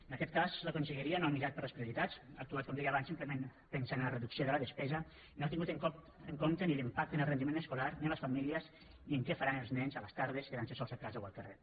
en aquest cas la conselleria no ha mirat per les prioritats ha actuat com deia abans simplement pensant en la reducció de la despesa no ha tingut en compte ni l’impacte ni el rendiment escolar ni les famílies ni què faran els nens a les tardes quedant se sols a casa o al carrer